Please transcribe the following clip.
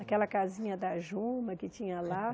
Aquela casinha da Juma, que tinha lá.